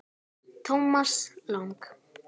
Thomas Lang